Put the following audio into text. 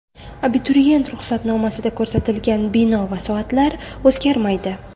Abituriyent ruxsatnomasida ko‘rsatilgan bino va soatlar o‘zgarmaydi.